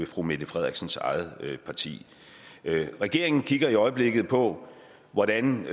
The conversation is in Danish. fru mette frederiksens eget parti regeringen kigger i øjeblikket på hvordan